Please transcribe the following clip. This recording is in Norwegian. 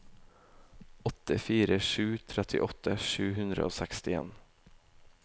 åtte fire tre sju trettiåtte sju hundre og sekstien